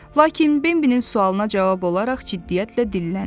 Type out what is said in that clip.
Lakin Bembinin sualına cavab olaraq ciddiyyətlə dilləndi.